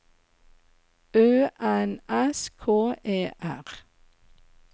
Ø N S K E R